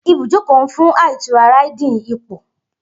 Ibujoko nfun a itura Riding ipo.